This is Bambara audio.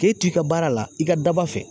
K'e t'i ka baara la i ka daba fɛ.